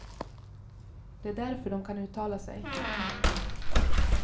Det är därför de kan uttala sig.